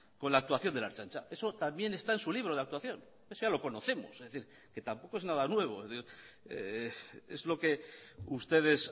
con la actuación de la ertzaintza eso también está en su libro de actuación eso ya lo conocemos es decir que tampoco es nada nuevo es lo que ustedes